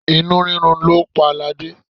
Inú rírun ni ó pa ladé.